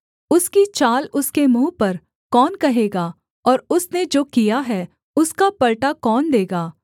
उसकी चाल उसके मुँह पर कौन कहेगा और उसने जो किया है उसका पलटा कौन देगा